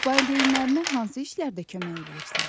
Valideynlərinə hansı işlərdə kömək eləyirsən?